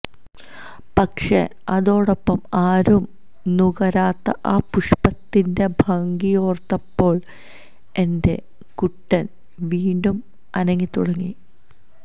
പക്ഷെ അതോടൊപ്പം ആരും നുകരാത ആ പുഷ്പത്തിന്റെ ഭംഗിയോർത്തപ്പോൾ എന്റെ കുട്ടൻ വീണ്ടും അനങ്ങി തുടങ്ങി